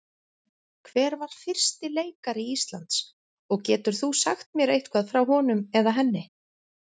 Hver var fyrsti leikari Íslands og getur þú sagt mér eitthvað frá honum eða henni?